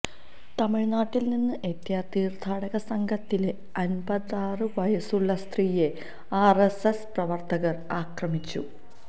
തമിഴ്നാട്ടിൽ നിന്ന് എത്തിയ തീർത്ഥാടക സംഘത്തിലെ അൻപതാറ് വയസ്സുള്ള സ്ത്രിയെ ആർഎസ്എസ് പ്രവർത്തകർ അക്രമിച്ചു